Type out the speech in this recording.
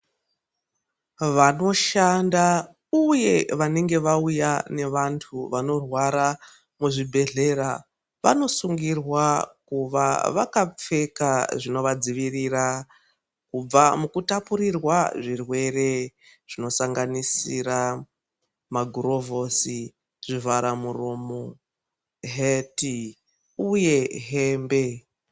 Vanoshanda uye wanenge wauya nevantu vanorwara muzvibhedhlera vanosungirwa kuva wakapfeka zvinovadziwirira kubva mukutapurirwa zvirwere. Zvinosanganisira magorovhosi, zvivhara muromo, heti uye hembe.